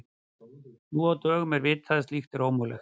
Nú á dögum er vitað að slíkt er ómögulegt.